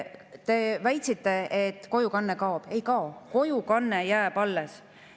Te väitsite, et kojukanne kaob – ei kao, kojukanne jääb alles.